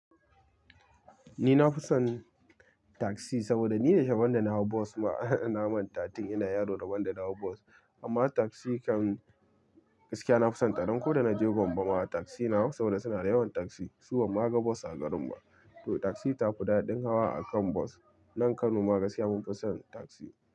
Ni na fi son taksi saboda ni yau sherabon da na hau bos ma na manta tun ina yaro rabon da na hau bos. Amma taksi kan gaskiya na fi sonta don ko da na je Gombe ma taksi na hau saboda suna yawan taksi. Su banma ga bus a garin ba. To taksi ta fi daɗin hawa akan bus. Nan Kano ma gaskiya mun fi son taksi.